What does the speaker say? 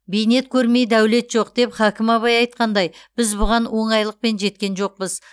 бейнет көрмей дәулет жоқ деп хакім абай айтқандай біз бұған оңайлықпен жеткен жоқпыз